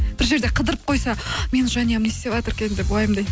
бір жерде қыдырып қойса менің жанұям не істеватыр екен деп